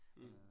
Mh